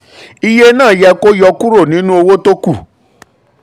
iye náà yẹ kó yọkúrò nínú owó tí kù.